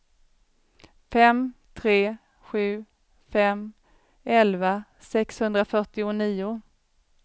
fem tre sju fem elva sexhundrafyrtionio